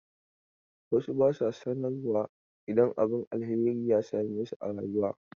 Wasu ba su sanarwa idan abin alheri ya same su a rayuwa.